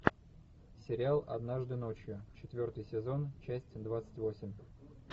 сериал однажды ночью четвертый сезон часть двадцать восемь